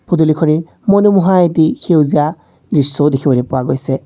পদুলিখনিৰ মনোমোহা এটি সেউজীয়া দৃশ্যও দেখিবলৈ পোৱা গৈছে।